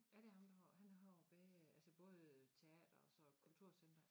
Ja det ham der har han har både altså både teater og så kulturcenteret